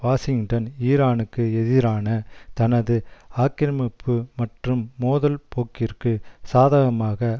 Washington ஈரானுக்கு எதிரான தனது ஆக்கிரமிப்பு மற்றும் மோதல் போக்கிற்கு சாதகமாக